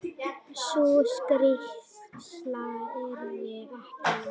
Sú skýrsla yrði ekki löng.